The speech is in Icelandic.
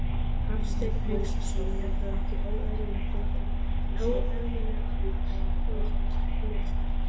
Hafsteinn Hauksson: Er það ekki óeðlilega lágt hlutfall?